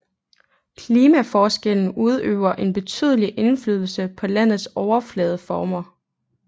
Klimaforskellen udøver en betydelig indflydelse på landets overfladeformer